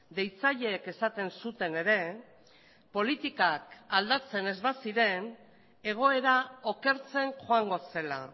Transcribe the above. deitzaileek esaten zuten ere politikak aldatzen ez baziren egoera okertzen joango zela